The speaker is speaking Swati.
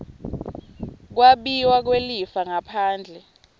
kwabiwa kwelifa ngaphandle